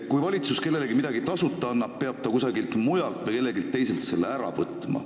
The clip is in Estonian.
Kui valitsus kellelegi midagi tasuta annab, siis peab ta kusagilt mujalt või kelleltki teiselt selle ära võtma.